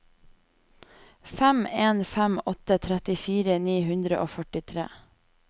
fem en fem åtte trettifire ni hundre og førtitre